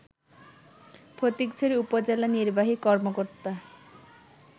ফটিকছড়ি উপজেলা নির্বাহী কর্মকর্তা